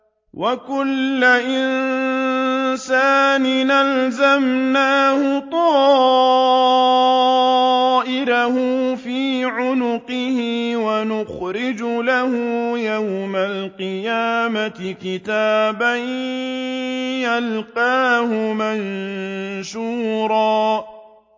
وَكُلَّ إِنسَانٍ أَلْزَمْنَاهُ طَائِرَهُ فِي عُنُقِهِ ۖ وَنُخْرِجُ لَهُ يَوْمَ الْقِيَامَةِ كِتَابًا يَلْقَاهُ مَنشُورًا